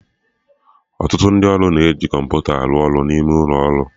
Ọtụtụ ndị ọrụ na-eji kọmputa arụ ọrụ n'ụlo ọrụ